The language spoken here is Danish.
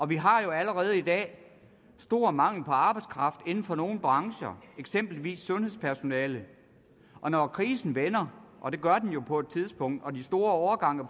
vi har jo allerede i dag stor mangel på arbejdskraft inden for nogle brancher eksempelvis sundhedspersonalet og når krisen vender og det gør den jo på et tidspunkt og de store årgange